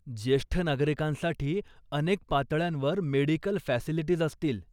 ज्येष्ठ नागरिकांसाठी अनेक पातळ्यांवर मेडिकल फॅसिलिटीज असतील.